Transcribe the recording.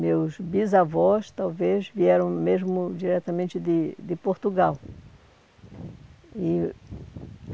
Meus bisavós, talvez, vieram mesmo diretamente de de Portugal. E